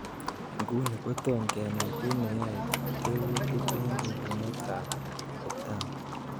Nguni kotom kenai kiy neyoe tekutik en ibunetab lipdema.